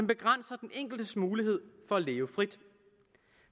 begrænser den enkeltes mulighed for at leve frit